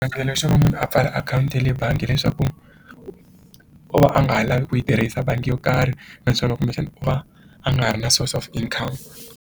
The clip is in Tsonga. xo va munhu a pfala akhawunti ya le bangi hileswaku u va a nga ha lavi ku yi tirhisa bangi yo karhi leswaku kumbexana u va a nga ha ri na source of income.